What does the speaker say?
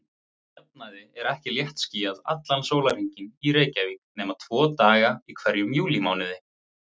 Að jafnaði er ekki léttskýjað allan sólarhringinn í Reykjavík nema tvo daga í hverjum júlímánuði.